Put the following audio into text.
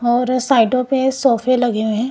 और साइडों पे सोफे लगे हुए हैं।